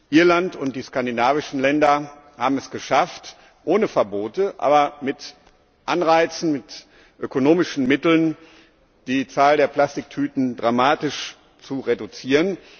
Irland und die skandinavischen Länder haben es geschafft, ohne Verbote, aber mit Anreizen, mit ökonomischen Mitteln die Zahl der Plastiktüten dramatisch zu reduzieren.